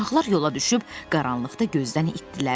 Uşaqlar yola düşüb qaranlıqda gözdən itdirlər.